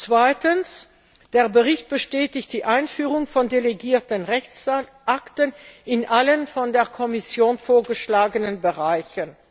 Zweitens Der Bericht bestätigt die Einführung von delegierten Rechtsakten in allen von der Kommission vorgeschlagenen Bereichen.